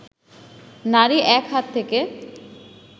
নারী এক হাত থেকে